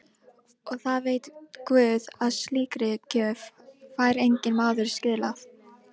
Og það veit guð að slíkri gjöf fær enginn maður skilað.